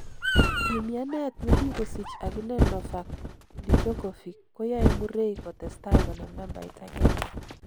Yumianet nekikosich akine Novac Djokovic koyoe Murray kotestai konam nambait agenge.